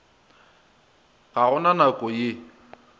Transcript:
ga go na nako ye